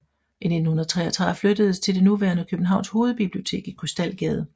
I 1993 flyttedes til det nuværende Københavns Hovedbibliotek i Krystalgade